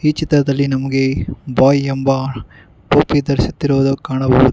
ಈ ಚಿತ್ರದಲ್ಲಿ ನಮ್ಗೆ ಬಾಯ್ ಎಂಬ ಟೋಪಿ ಧರಿಸಿಸುತ್ತಿರುವುದು ಕಾಣಬಹುದು.